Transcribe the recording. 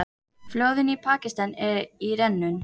Flóðin í Pakistan í rénun